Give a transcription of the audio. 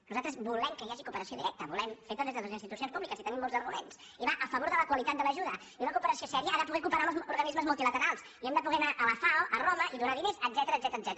nosaltres volem que hi hagi cooperació directa feta des de les institucions públiques i tenim molts arguments i va a favor de la qualitat de l’ajuda i una cooperació seriosa ha de poder cooperar amb els organismes multilaterals i hem de po der anar a la fao a roma i donar diners etcètera